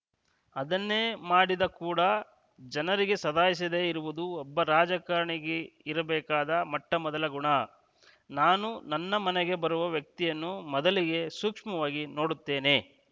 ಅದನ್ನೇ ಮಾಡಿದೆ ಕೂಡ ಜನರಿಗೆ ಸದಾಯಿಸದೆ ಇರುವುದು ಒಬ್ಬ ರಾಜಕಾರಣಿಗಿರಬೇಕಾದ ಮೊಟ್ಟಮೊದಲ ಗುಣ ನಾನು ನನ್ನ ಮನೆಗೆ ಬರುವ ವ್ಯಕ್ತಿಯನ್ನು ಮೊದಲಿಗೆ ಸೂಕ್ಷ್ಮವಾಗಿ ನೋಡುತ್ತೇನೆ